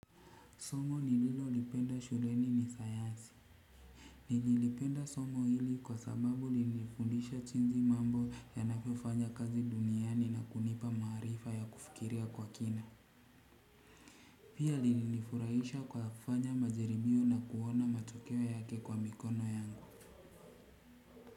Somo ni lilo lipenda shuleni ni sayansi. Nililipenda somo hili kwa sababu lilinifundisha jinsi mambo ya navyofanya kazi duniani na kunipa maarifa ya kufikiria kwa kina. Pia lilinifurahisha kwa kufanya majaribio na kuona matokeo yake kwa mikono yangu.